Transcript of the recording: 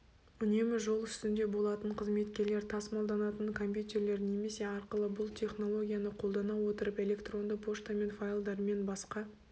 үнемі жол үстінде болатын қызметкерлер тасымалданатын компьютерлер немесе арқылы бұл технологияны қолдана отырып электронды поштамен файлдармен басқа